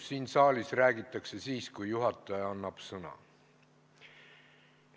Siin saalis räägitakse siis, kui juhataja annab sõna.